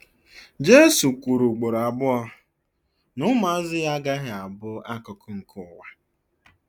Jesu kwuru ugboro abụọ na ụmụazụ ya agaghị abụ akụkụ nke ụwa.